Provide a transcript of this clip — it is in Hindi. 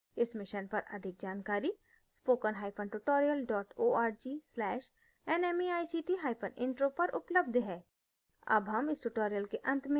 इस मिशन पर अधिक जानकारी